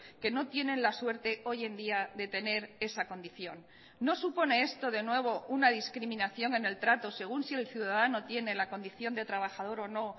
que no tienen la suerte hoy en día de tener esa condición no supone esto de nuevo una discriminación en el trato según si el ciudadano tiene la condición de trabajador o no